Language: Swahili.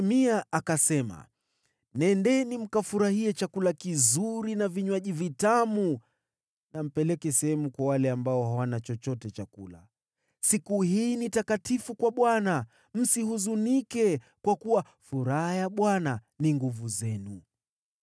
Nehemia akasema, “Nendeni mkafurahie chakula kizuri na vinywaji vitamu, na mpeleke sehemu kwa wale ambao hawana chochote cha kula. Siku hii ni takatifu kwa Bwana . Msihuzunike, kwa kuwa furaha ya Bwana ni nguvu zenu.”